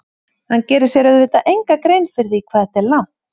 Hann gerir sér auðvitað enga grein fyrir því hvað þetta er langt.